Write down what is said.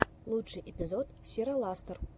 лучший эпизод сираластор